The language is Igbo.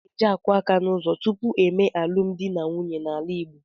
A na-eje akụ aka n'ụzọ tupu e mee alụmdi na nwunye n'ala Igbo.